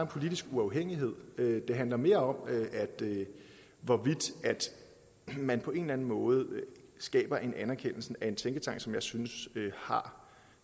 politisk uafhængighed det handler mere om hvorvidt man på en eller anden måde skaber en anerkendelse af en tænketank som jeg synes har